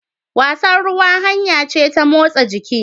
Wasan ruwa hanya ce ta motsa jiki.